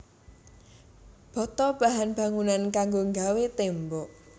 Bata bahan bangunan kanggo nggawé tembok